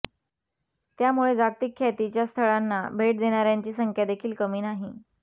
त्यामुळे जागतिक ख्यातीच्या स्थळांना भेट देणाऱ्यांची संख्यादेखील कमी नाही